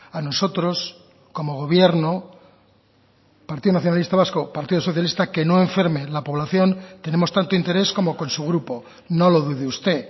a nosotros como gobierno partido nacionalista vasco partido socialista que no enferme la población tenemos tanto interés como con su grupo no lo dude usted